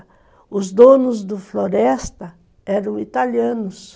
E os donos do floresta eram italianos.